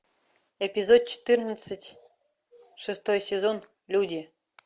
эпизод четырнадцать шестой сезон люди